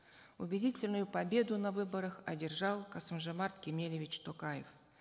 убедительную победу на выборах одержал касым жомарт кемелевич токаев